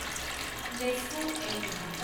Nesco LTD